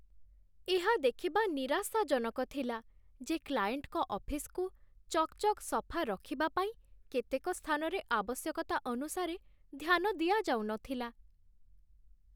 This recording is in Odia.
ଏହା ଦେଖିବା ନିରାଶାଜନକ ଥିଲା ଯେ କ୍ଲାଏଣ୍ଟଙ୍କ ଅଫିସ୍‌କୁ ଚକ୍‌ଚକ୍ ସଫା ରଖିବା ପାଇଁ କେତେକ ସ୍ଥାନରେ ଆବଶ୍ୟକତା ଅନୁସାରେ ଧ୍ୟାନ ଦିଆଯାଉନଥିଲା